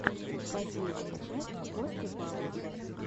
последняя часть костя павлов